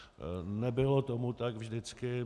Nebylo tomu tak vždycky.